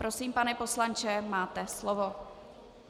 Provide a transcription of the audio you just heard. Prosím, pane poslanče, máte slovo.